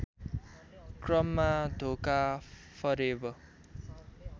क्रममा धोका फरेव